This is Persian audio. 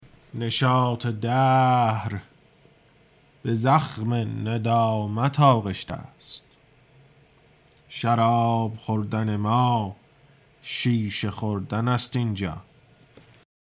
نشاط دهر به زخم ندامت آغشته است شراب خوردن ما شیشه خوردن است این جا